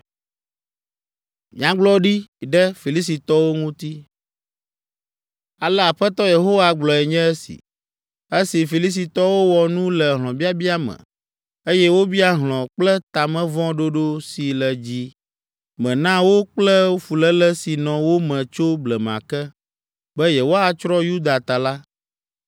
“Ale Aƒetɔ Yehowa gblɔe nye esi: ‘Esi Filistitɔwo wɔ nu le hlɔ̃biabia me, eye wobia hlɔ̃ kple ta me vɔ̃ ɖoɖo si le dzi me na wo kple fuléle si nɔ wo me tso blema ke, be yewoatsrɔ̃ Yuda ta la,